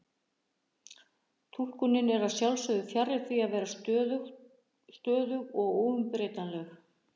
Túlkunin er að sjálfsögðu fjarri því að vera stöðug og óumbreytanleg.